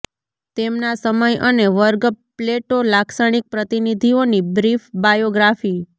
તેમના સમય અને વર્ગ પ્લેટો લાક્ષણિક પ્રતિનિધિઓની બ્રીફ બાયોગ્રાફી